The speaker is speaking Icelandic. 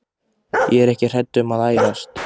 Ég er ekki hrædd um að ærast.